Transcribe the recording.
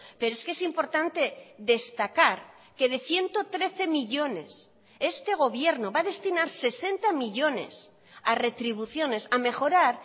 pero es que es importante destacar que de ciento trece millónes este gobierno va a destinar sesenta millónes a retribuciones a mejorar